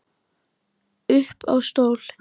Upp á stól